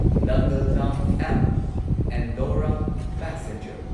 ꯅꯪꯒꯜ ꯗꯥꯝ ꯑꯦꯝꯕ ꯑꯦꯟꯗꯧꯔꯥ ꯄꯦꯁꯦꯟꯖꯔ